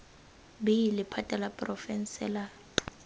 b lephata la porofense la